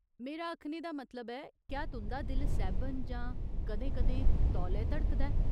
मेरा आखने दा मतलब ऐ, क्या तुं'दा दिल सैह्बन जां कदें कदें तौले धड़कदा ऐ ?